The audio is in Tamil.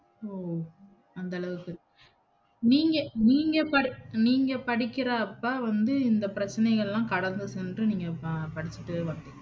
ஓ! அந்த அளவுக்கு நீங்க, நீங்க, நீங்க படிக்கறப்ப வந்து இந்த பிரச்சனைகல்லாம் கடந்து சென்று நீங்க படிச்சுட்டு வந்தீங்க